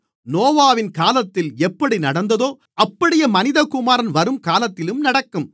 நோவாவின் காலத்தில் எப்படி நடந்ததோ அப்படியே மனிதகுமாரன் வரும்காலத்திலும் நடக்கும்